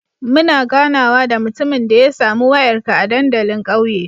Muna ganawa da mutumin da ya sami wayarka a dandalin ƙauye